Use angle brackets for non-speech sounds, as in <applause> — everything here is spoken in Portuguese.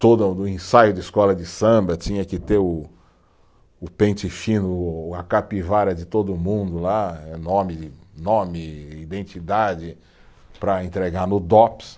Todo <unintelligible> no ensaio de escola de samba tinha que ter o o pente fino, o o a capivara de todo mundo lá, eh nome, nome, identidade, para entregar no Dops.